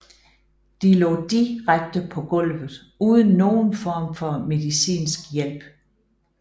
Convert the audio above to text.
De lå direkte på gulvet uden nogen form for medicinsk hjælp